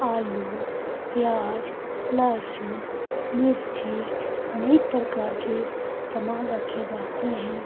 आलू प्याज लहसुन मिर्ची अनेक प्रकार के सामान रखे जाते हैं।